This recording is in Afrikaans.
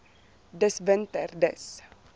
dis winter dis